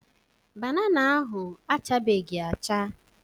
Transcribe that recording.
Banana ahụ achabeghị acha.